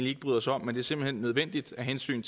ikke bryder os om men som er nødvendige af hensyn